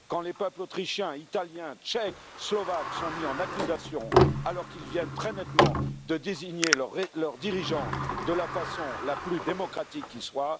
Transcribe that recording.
Quand les peuples autrichien, italien, tchèque, slovaque sont mis en accusation alors qu'ils viennent très nettement de désigner leurs dirigeants de la façon la plus démocratique qui soit?